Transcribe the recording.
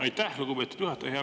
Aitäh, lugupeetud juhataja!